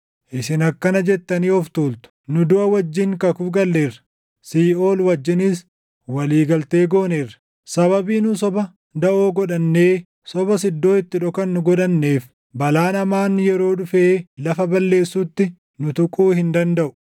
Isin akkana jettanii of tuultu; “Nu duʼa wajjin kakuu galleerra; siiʼool wajjinis walii galtee gooneerra. Sababii nu soba daʼoo godhannee, sobas iddoo itti dhokannu godhanneef, balaan hamaan yeroo dhufee lafa balleessutti nu tuquu hin dandaʼu.”